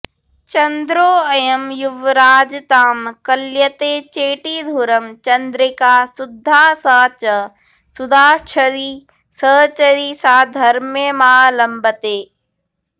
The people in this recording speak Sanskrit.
चन्द्रोऽयं युवराजतां कलयते चेटीधुरं चन्द्रिका शुद्धा सा च सुधाझरी सहचरीसाधर्म्यमालम्बते